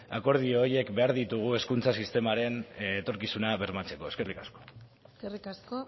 akordio horiek behar ditugu hezkuntza sistemaren etorkizuna bermatzeko eskerrik asko eskerrik asko